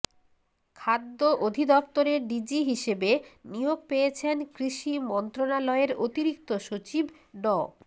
খাদ্য অধিদপ্তরের ডিজি হিসেবে নিয়োগ পেয়েছেন কৃষি মন্ত্রণালয়ের অতিরিক্ত সচিব ড